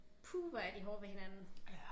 Puh hvor er de hårde ved hinanden